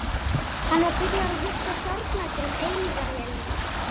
Hann var byrjaður að hugsa sorgmæddur um eilífðarvélina.